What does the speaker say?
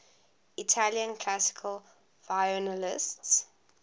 italian classical violinists